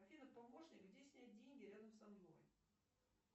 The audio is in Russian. афина помощник где снять деньги рядом со мной